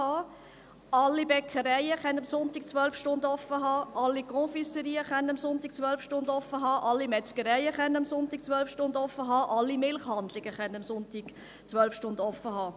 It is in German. Alle Bäckereien können am Sonntag 12 Stunden offen haben, alle Confiserien können am Sonntag 12 Stunden offen haben, alle Metzgereien können am Sonntag 12 Stunden offen haben, alle Milchhandlungen können am Sonntag 12 Stunden offen haben.